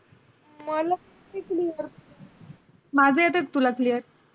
माझा येतय का तुला clear?